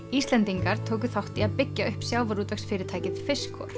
Íslendingar tóku þátt í að byggja upp sjávarútvegsfyrirtækið